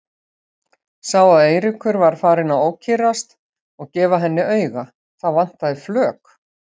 Sá að Eiríkur var farinn að ókyrrast og gefa henni auga, það vantaði flök.